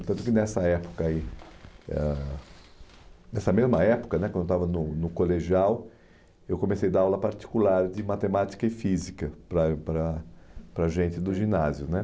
Tanto que nessa época aí ah, nessa mesma época né, quando eu estava no no colegial, eu comecei a dar aula particular de matemática e física para para a gente do ginásio né